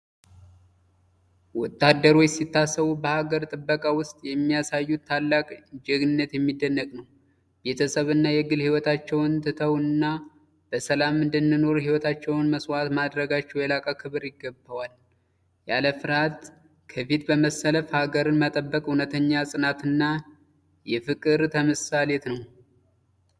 ወታደሮች ሲታሰቡ በሀገር ጥበቃ ውስጥ የሚያሳዩት ታላቅ ጀግንነት የሚደነቅ ነው! ቤተሰብና የግል ሕይወታቸውን ትተው እኛ በሰላም እንድንኖር ሕይወታቸውን መስዋዕት ማድረጋቸው የላቀ ክብር ይገባዋል። ያለ ፍርሃት ከፊት በመስለፍ ሀገርን መጠበቅ እውነተኛ የጽናትና የፍቅር ምሳሌ ነው!